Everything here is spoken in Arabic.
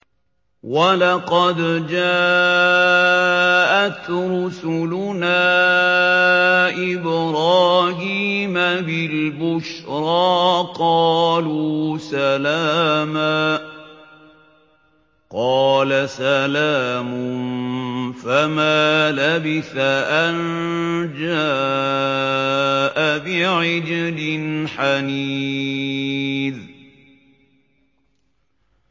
وَلَقَدْ جَاءَتْ رُسُلُنَا إِبْرَاهِيمَ بِالْبُشْرَىٰ قَالُوا سَلَامًا ۖ قَالَ سَلَامٌ ۖ فَمَا لَبِثَ أَن جَاءَ بِعِجْلٍ حَنِيذٍ